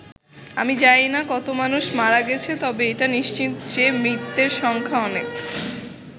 আমি জানিনা কত মানুষ মারা গেছে, তবে এটা নিশ্চিত যে মৃতের সংখ্যা অনেক'।